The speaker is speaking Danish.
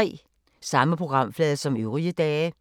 Samme programflade som øvrige dage